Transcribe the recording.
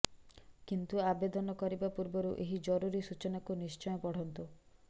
କିନ୍ତୁ ଆବେଦନ କରିବା ପୂର୍ବରୁ ଏହି ଜରୁରୀ ସୂଚନାକୁ ନିଶ୍ଚୟ ପଢ଼ନ୍ତୁ